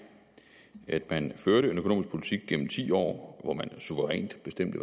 at man førte en økonomisk politik gennem ti år hvor man suverænt bestemte